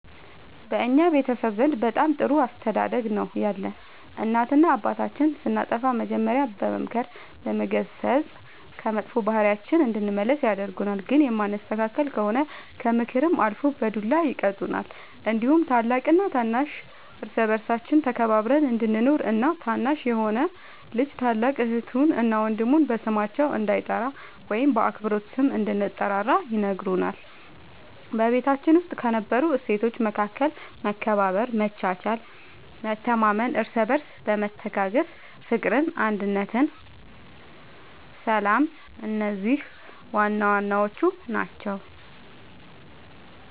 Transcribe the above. በእኛ ቤተሰብ ዘንድ በጣም ጥሩ አስተዳደግ ነው ያለን እናትና አባታችን ስናጠፋ መጀሪያ በመምከር በመገሰፅ ከመጥፎ ባህሪያችን እንድንመለስ ያደርጉናል ግን የማንስተካከል ከሆነ ከምክርም አልፎ በዱላ ይቀጡናል እንዲሁም ታላቅና ታናሽ እርስ በርሳችን ተከባብረን እንድንኖር እና ታናሽ የሆነ ልጅ ታላቅ እህቱን እና ወንድሙ በስማቸው እንዳይጠራ ወይም በአክብሮት ስም እንድንጠራራ ይነግሩናል በቤታችን ውስጥ ከነበሩት እሴቶች መካከል መከባበር መቻቻል መተማመን እርስ በርስ መተጋገዝ ፍቅር አንድነት ሰላም እነዚህ ዋናዋናዎቹ ናቸው